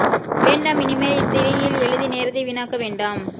வேண்டாம் இனி மேல் இத் திரியில் எழுதி நேரத்தை வீணாக்க வேண்டாம்